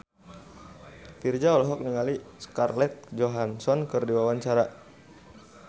Virzha olohok ningali Scarlett Johansson keur diwawancara